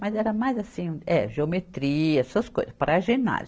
Mas era mais assim, é, geometria, essas coisas, para ginásio.